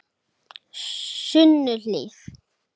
Sunnuhlíð